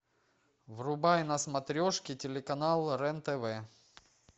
врубай на смотрешке телеканал рен тв